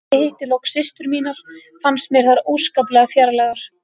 Þegar ég hitti loks systur mínar fannst mér þær óskaplega fjarlægar.